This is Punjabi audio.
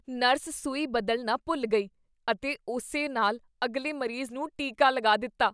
ਨਰਸ ਸੂਈ ਬਦਲਣਾ ਭੁੱਲ ਗਈ ਅਤੇ ਉਸੇ ਨਾਲ ਅਗਲੇ ਮਰੀਜ਼ ਨੂੰ ਟੀਕਾ ਲਗਾ ਦਿੱਤਾ।